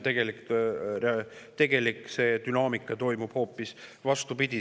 Tegelik dünaamika toimub hoopis vastupidi.